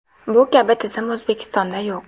Bu kabi tizim O‘zbekistonda yo‘q.